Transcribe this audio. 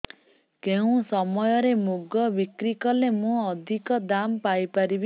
କେଉଁ ସମୟରେ ମୁଗ ବିକ୍ରି କଲେ ମୁଁ ଅଧିକ ଦାମ୍ ପାଇ ପାରିବି